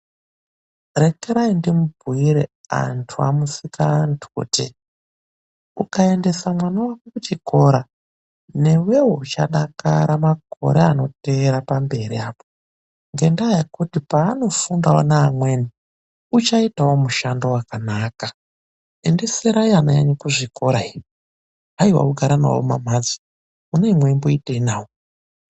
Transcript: Rekerai ndimubhuire anthu amusikaanthu, kuti ukaendesa mwana wako kuchikora, newewo uchadakara makore anoteera pamberi apo. Ngendaa yekuti peanofundawo neamweni uchaitawo mushando wakanaka. Endeserai ana enyu kuzvikora. Haiwa kugara nawo mumamphatso. Munenge mweimboiteyi navo.